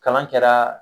Kalan kɛra